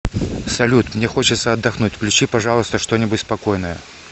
салют мне хочется отдохнуть включи пожалуйста что нибудь спокойное